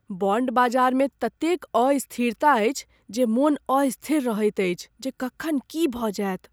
Bond बाजारमे ततेक अस्थिरता अछि जे मोन अस्थिर रहैत अछि जे कखन की भऽ जायत।